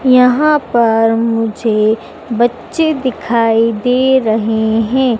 यहां पर मुझे बच्चे दिखाई दे रहे हैं।